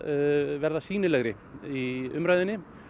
verða sýnilegri í umræðunni